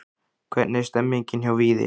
Hvernig er stemningin hjá Víði?